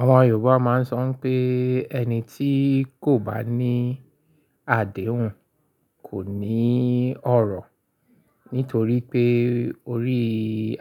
Àwọn Yorùbá máa ń sọ pé ẹni tí kò bá ní àdéhùn kò ní ọ̀rọ̀. Nítorí pé orí